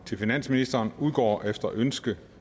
til finansministeren udgår efter ønske